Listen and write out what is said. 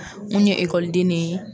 un ye ekɔliden ne ye.